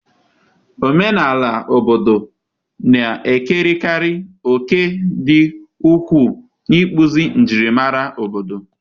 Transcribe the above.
Omenala akụkọ ifo na-ekerekarị òkè dị ukwuu n'ịkpụzi njirimara obodo.